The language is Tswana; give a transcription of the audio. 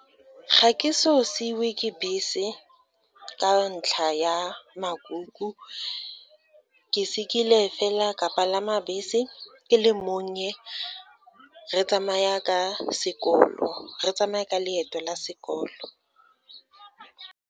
Ga ke so seiwe ke bese ka ntlha ya makuku, ke sekile fela ka palama bese, ke le monnye re tsamaya ka leeto la sekolo.